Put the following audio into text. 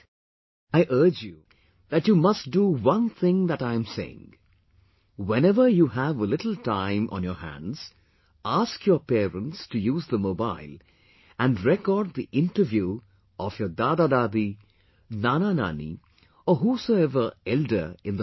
See, I appeal thatyou must do one thing that I am saying whenever you have a little time on your hands, ask your parents to use the mobile and record the interview of your DadaDadi, NanaNani or whosoever elder in the house